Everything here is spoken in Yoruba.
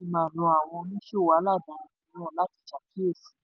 ààrẹ ipman rọ àwọn oníṣòwò aládàáni mìíràn láti ṣàkíyèsí.